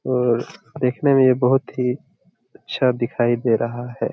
और देखने में यह बहुत ही अच्छा दिखाई दे रहा है।